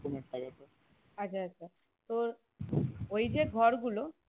আচ্ছা আচ্ছা তোর ওই যে ঘরগুলো